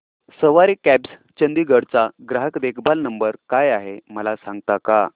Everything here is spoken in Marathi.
सवारी कॅब्स चंदिगड चा ग्राहक देखभाल नंबर काय आहे मला सांगता का